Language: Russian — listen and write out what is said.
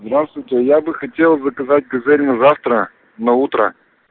здравствуйте я бы хотел заказать газель на завтра на утро